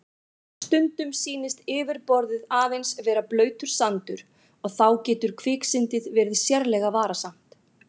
Stundum sýnist yfirborðið aðeins vera blautur sandur og þá getur kviksyndið verið sérlega varasamt.